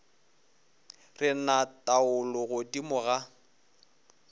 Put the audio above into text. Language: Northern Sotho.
re na taolo godimo ga